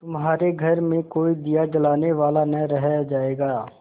तुम्हारे घर में कोई दिया जलाने वाला न रह जायगा